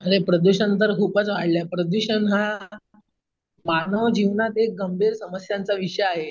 प्रदूषण तर खूपच वाढलय प्रदूषण हा मानव जीवनातील गंभीर समस्यांचा विषय आहे.